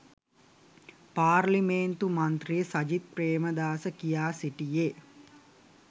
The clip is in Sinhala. පාර්ලිමේන්තු මන්ත්‍රී සජිත් ප්‍රේමදාස කියා සිටියේ